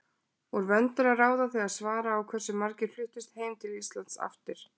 Úr vöndu er að ráða þegar svara á hversu margir fluttust heim til Íslands aftur.